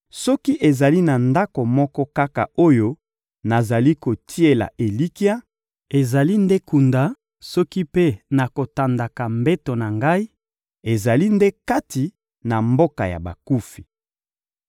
Soki ezali na ndako moko kaka oyo nazali kotiela elikya, ezali nde kunda; soki mpe nakotandaka mbeto na ngai, ezali nde kati na mboka ya bakufi.